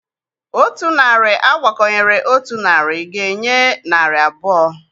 Otu narị agbakọnyere otu narị ga-enye narị abụọ.